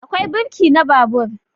Akwai birki na babur